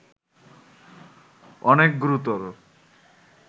অনেক গুরুতর